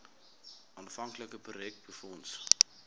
aanvanklike projek befonds